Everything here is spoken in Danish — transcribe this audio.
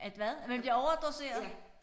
At hvad at man bliver overdoseret